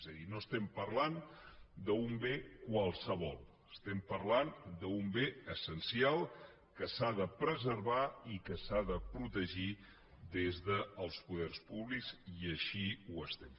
és a dir no parlem d’un bé qualsevol parlem d’un bé essencial que s’ha de preservar i que s’ha de protegir des dels poders públics i així ho fem